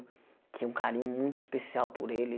Tinha um carinho muito especial por ele.